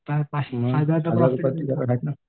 तर हजारच प्रॉफिट आहे